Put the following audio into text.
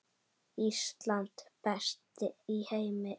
Ísland, best í heimi.